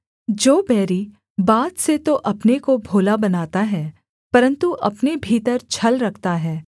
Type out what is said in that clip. जो बैरी बात से तो अपने को भोला बनाता है परन्तु अपने भीतर छल रखता है